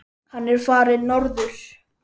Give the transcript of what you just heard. Hann er farinn norður.